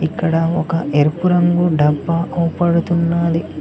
ఇక్కడ ఒక ఎరుపు రంగు డబ్బా కోపడుతున్నది